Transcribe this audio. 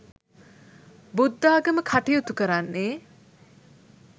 බුද්ධාගම කටයුතු කරන්නේ